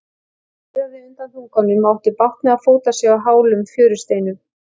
Hann riðaði undan þunganum og átti bágt með að fóta sig á hálum fjörusteinunum.